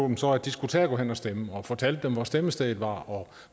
dem så at de skulle tage at gå hen og stemme og fortalte dem hvor afstemningsstedet var og